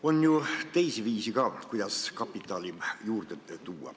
On ju teisi viise ka, kuidas kapitali juurde tuua.